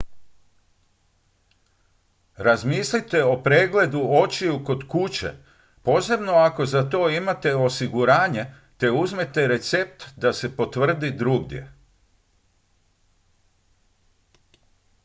razmislite o pregledu očiju kod kuće posebno ako za to imate osiguranje te uzmete recept da se potvrdi drugdje